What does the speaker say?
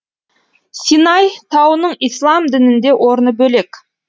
синай тауының ислам дінінде орны бөлек